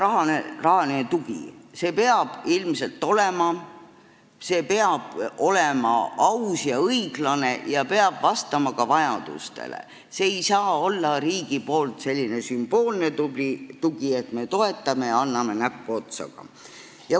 Riigi rahaline tugi peab ilmselt olema, see peab olema aus ja õiglane ning peab vastama ka vajadustele, see ei saa olla riigi sümboolne tugi, et me toetame ja anname näpuotsaga.